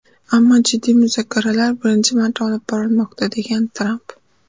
Ammo jiddiy muzokaralar birinchi marta olib borilmoqda”, degan Tramp.